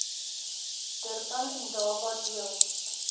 durban indaba deel